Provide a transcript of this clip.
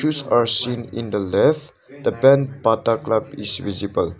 shoes are seen in the left the brand bata club is visible.